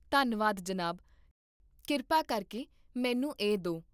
ਧੰਨਵਾਦ, ਜਨਾਬ, ਕਿਰਪਾ ਕਰਕੇ ਮੈਨੂੰ ਇਹ ਦੇ